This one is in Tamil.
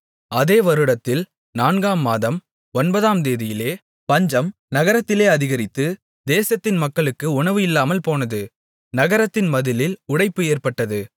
அதே வருடத்தில் நான்காம் மாதம் ஒன்பதாம்தேதியிலே பஞ்சம் நகரத்திலே அதிகரித்து தேசத்தின் மக்களுக்கு உணவு இல்லாமல்போனது நகரத்தின் மதிலில் உடைப்பு ஏற்பட்டது